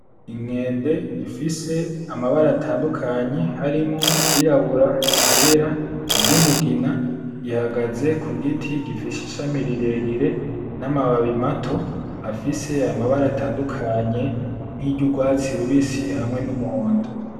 Inkende ifise amabara atandukanye harimwo iryirabura, iryera, iryumugina ihagaze ku giti gifise ishami rirerire n'amababi mato afise amabara atandukanye nkiry'urwatsi rubisi hamwe n'umuhondo.